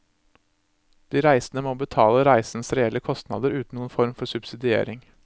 De reisende må betale reisens reelle kostnader uten noen form for subsidiering.